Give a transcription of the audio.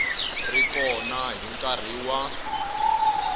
ri kona hi nkarhi wa